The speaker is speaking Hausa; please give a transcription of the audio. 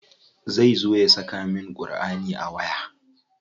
Zai zo ya saka min Ƙurʼani a waya?